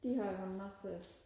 de har jo en masse